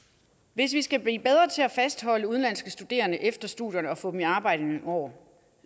hvis vi skal blive bedre til at fastholde udenlandske studerende efter studierne og få dem i arbejde i nogle år